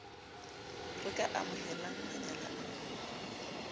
re ka amohelang manyala a